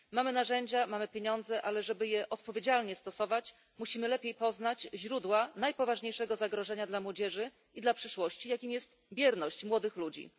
Mamy narzędzia, mamy pieniądze, ale żeby je odpowiedzialnie stosować, musimy lepiej poznać źródła najpoważniejszego zagrożenia dla młodzieży i dla przyszłości, jakim jest bierność młodych ludzi.